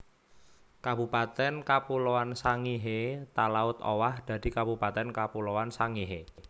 Kabupatèn Kapuloan Sangihe Talaud owah dadi Kabupatèn Kapuloan Sangihe